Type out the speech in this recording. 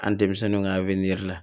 An denmisɛnninw ka la